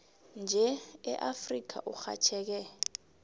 nje eafrika urhatjheke